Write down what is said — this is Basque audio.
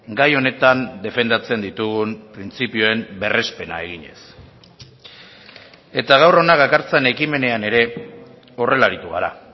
gai honetan defendatzen ditugun printzipioen berrespena eginez eta gaur hona dakartzan ekimenean ere horrela aritu gara